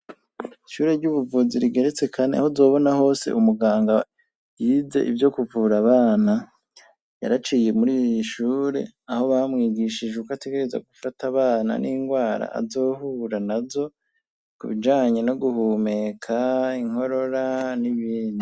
Ishure ry'ubuvuzi rigeretse kandi aho uzobona hose umuganga yize ivyo kuvura abana, yaraciye muri iyi shure aho bamwigishije uko ategereza gufata abana n'indwara azohura nazo kubijanye no guhumeka, inkorora, n'ibindi.